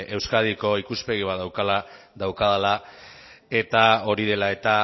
euskadiko ikuspegi bat daukadala eta hori dela eta